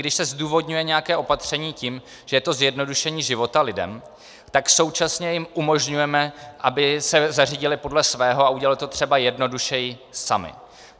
Když se zdůvodňuje nějaké opatření tím, že je to zjednodušení života lidem, tak současně jim umožňujeme, aby se zařídili podle svého a udělali to třeba jednodušeji sami.